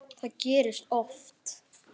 Það gerist oft.